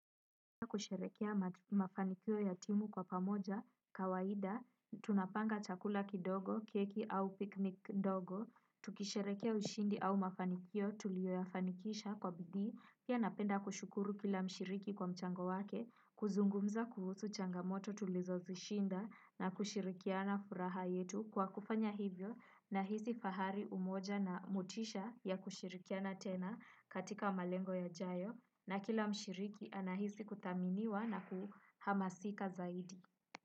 Tukisherekea mafanikio yatimu kwa pamoja, kawaida, tunapanga chakula kidogo, keki au piknik ndogo, tukisherekea ushindi au mafanikio tulioyafanikisha kwa bidii, pia napenda kushukuru kila mshiriki kwa mchango wake, kuzungumza kuhusu changamoto tulizozishinda na kushirikiana furaha yetu kwa kufanya hivyo na hizi fahari umoja na motisha ya kushirikiana tena katika malengo yajayo na kila mshiriki anahisi kuthaminiwa na kuhamasika zaidi.